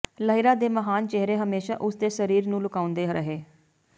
ਲਹਿਰਾਂ ਦੇ ਮਹਾਨ ਚਿਹਰੇ ਹਮੇਸ਼ਾ ਉਸਦੇ ਸਰੀਰ ਨੂੰ ਲੁਕਾਉਂਦੇ ਰਹੇ